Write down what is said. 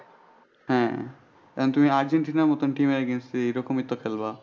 হ্যাঁ কারণ তুমি আর্জেন্টিনার মতো team এর against এ এইরকমই তো খেলবা।